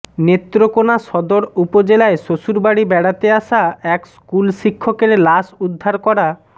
নেত্রকোনা সদর উপজেলায় শ্বশুরবাড়ি বেড়াতে আসা এক স্কুলশিক্ষকের লাশ উদ্ধার করা